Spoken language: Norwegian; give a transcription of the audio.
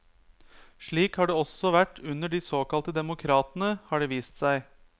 Slik har det også vært under de såkalte demokratene, har det vist seg.